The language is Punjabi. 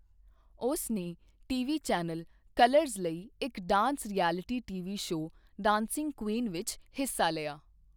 ਉਸ ਨੇ ਟੀਵੀ ਚੈਨਲ ਕਲਰਜ਼ ਲਈ ਇੱਕ dance reality TV show Dancing Queen ਵਿੱਚ ਹਿੱਸਾ ਲਿਆ।